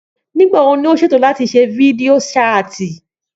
Nígbàwo ni o ṣètò láti ṣe fídíò ṣáàtì?